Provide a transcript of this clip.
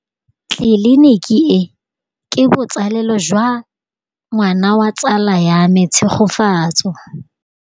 Tleliniki e, ke botsalêlô jwa ngwana wa tsala ya me Tshegofatso.